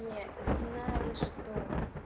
не знаешь что